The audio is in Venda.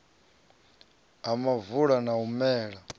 ha muvula na u mela